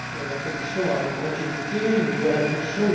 La Commission a une continuité, une nouvelle impulsion.